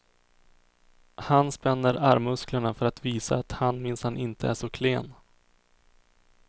Han spänner armmusklerna för att visa att han minsann inte är så klen.